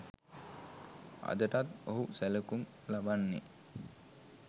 අදටත් ඔහු සැලකුම් ලබන්නේ